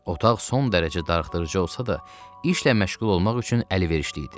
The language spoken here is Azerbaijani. Otaq son dərəcə darıxdırıcı olsa da, işlə məşğul olmaq üçün əlverişli idi.